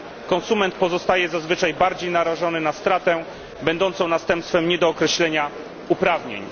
Konsument pozostaje zazwyczaj bardziej narażony na stratę będącą następstwem niedookreślenia uprawnień.